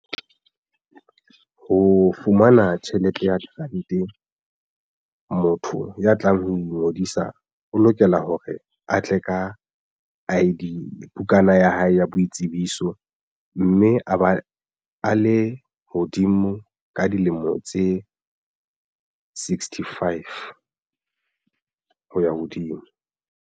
Ho fumana tjhelete ya grant motho ya tlang ho ingodisa o lokela hore a tle ka I_D bukana ya hae ya boitsebiso mme a ba a le hodimo ka dilemo tse sixty five hoya hodimo.